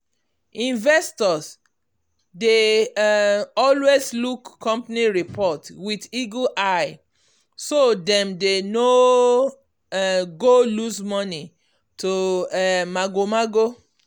investors dey um always look company report with eagle eye so dem dem no um go lose money to um mago-mago.